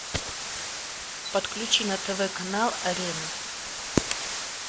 подключи на тв канал арена